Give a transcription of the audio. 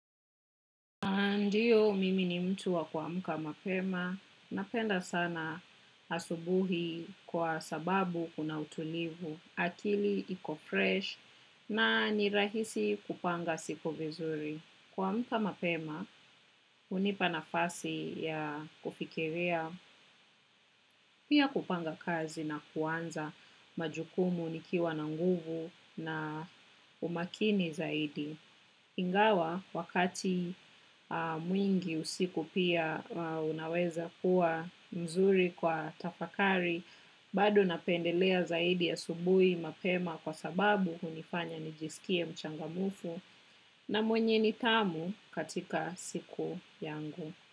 Ndiyo, mimi ni mtu wa kua mka mapema. Napenda sana asubuhi kwa sababu kuna utulivu. Akili, iko fresh na nirahisi kupanga siku vizuri. Kua mka mapema, unipanafasi ya kufikiria pia kupanga kazi na kuanza majukumu nikiwa na nguvu na umakini zaidi. Ingawa wakati mwingi usiku pia unaweza kuwa mzuri kwa tafakari, bado napendelea zaidi asubuhi mapema kwa sababu unifanya nijisikie mchangamfu na mwenye nitamu katika siku yangu.